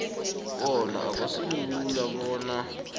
bona akusilula bona